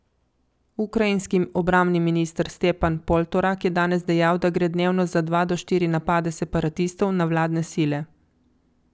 Ukrajinski obrambni minister Stepan Poltorak je danes dejal, da gre dnevno za dva do štiri napade separatistov na vladne sile.